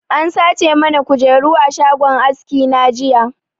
An sace mana kujeru a shagon aski na jiya